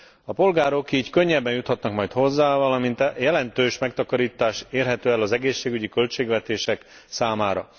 A polgárok így könnyebben juthatnak majd hozzá, valamint jelentős megtakarítás érhető el az egészségügyi költségvetések számára.